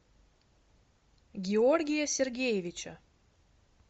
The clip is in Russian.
георгия сергеевича